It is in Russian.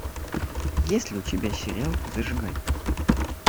есть ли у тебя сериал зажигай